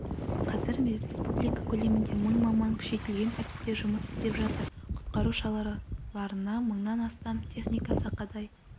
қазір республика көлемінде мың маман күшейтілген тәртіпте жұмыс істеп жатыр құтқару шараларына мыңнан астам техника сақадай